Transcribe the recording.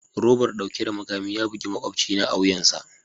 Robar dauke da makami ya bugi makwabcina a wuyansa